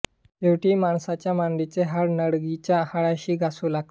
शेवटी माणसाच्या मांडीचे हाड नडगीच्या हाडाशी घासू लागते